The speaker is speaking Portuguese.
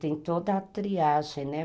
Tem toda a triagem, né?